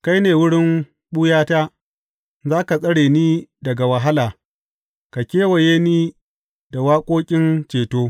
Kai ne wurin ɓuyata; za ka tsare ni daga wahala ka kewaye ni da waƙoƙin ceto.